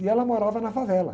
E ela morava na favela.